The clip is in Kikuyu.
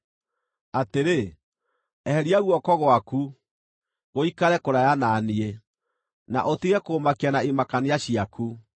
Atĩrĩ, eheria guoko gwaku, gũikare kũraya na niĩ, na ũtige kũũmakia na imakania ciaku.